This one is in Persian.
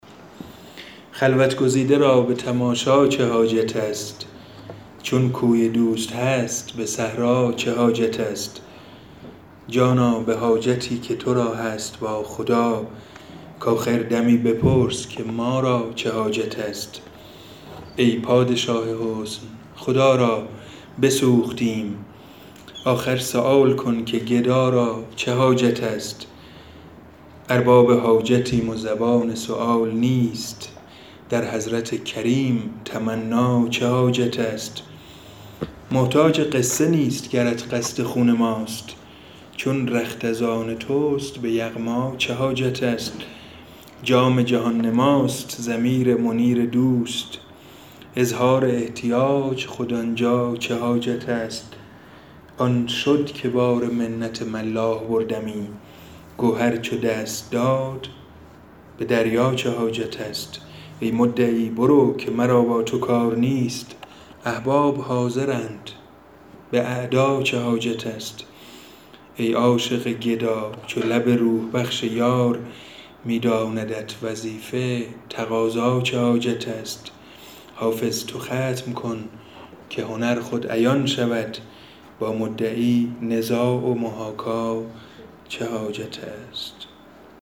خلوت گزیده را به تماشا چه حاجت است چون کوی دوست هست به صحرا چه حاجت است جانا به حاجتی که تو را هست با خدا کآخر دمی بپرس که ما را چه حاجت است ای پادشاه حسن خدا را بسوختیم آخر سؤال کن که گدا را چه حاجت است ارباب حاجتیم و زبان سؤال نیست در حضرت کریم تمنا چه حاجت است محتاج قصه نیست گرت قصد خون ماست چون رخت از آن توست به یغما چه حاجت است جام جهان نماست ضمیر منیر دوست اظهار احتیاج خود آن جا چه حاجت است آن شد که بار منت ملاح بردمی گوهر چو دست داد به دریا چه حاجت است ای مدعی برو که مرا با تو کار نیست احباب حاضرند به اعدا چه حاجت است ای عاشق گدا چو لب روح بخش یار می داندت وظیفه تقاضا چه حاجت است حافظ تو ختم کن که هنر خود عیان شود با مدعی نزاع و محاکا چه حاجت است